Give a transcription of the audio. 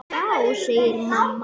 Já mamma, segir hann.